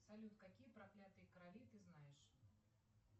салют какие проклятые короли ты знаешь